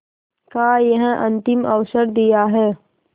का यह अंतिम अवसर दिया है